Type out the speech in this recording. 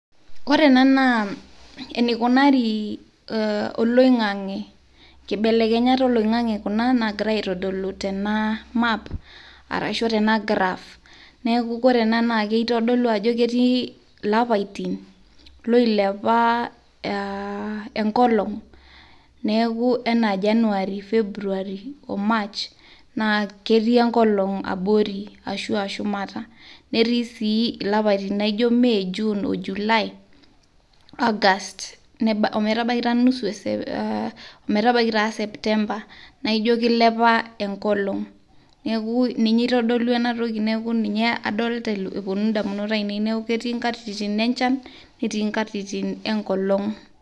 ore ena naa enikunari oloingange ,nkibelekenyat oloingange kuna nagira aitdolu tena map arashu tena graph . ore ena naa kitodolu ajo ketii ilapaitin loilepa enkolong , neaku naji anaa january , february , march naa ketii enkolong abori ashua shumata . netii sii ilapaitin laijo may , june, july , august , september naijo kilepa enkolong , neku ninye itodolu ena toki